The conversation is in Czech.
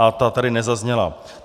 A ta tady nezazněla.